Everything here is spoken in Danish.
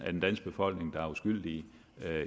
den danske befolkning der er uskyldige